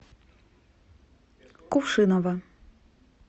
кувшиново